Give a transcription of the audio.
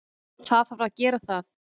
Það þarf að gera það.